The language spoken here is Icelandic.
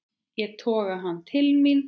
Ég toga hann til mín.